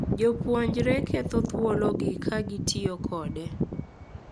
Jopuonjre ketho thuologi ka gitiyo kode